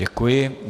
Děkuji.